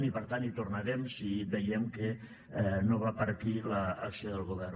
i per tant hi tornarem si veiem que no va per aquí l’acció del govern